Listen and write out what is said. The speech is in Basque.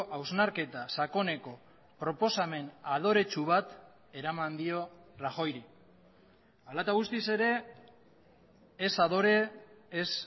hausnarketa sakoneko proposamen adoretsu bat eraman dio rajoyri hala eta guztiz ere ez adore ez